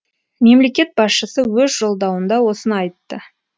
мемлекет басшысы өз жолдауында осыны айтты